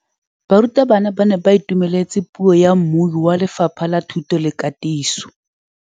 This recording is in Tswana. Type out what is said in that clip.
Barutabana ba ne ba itumeletse puô ya mmui wa Lefapha la Thuto le Katiso.